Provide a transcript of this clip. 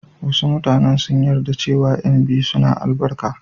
Wasu mutanen sun yarda cewa ƴan biyu suna da albarka.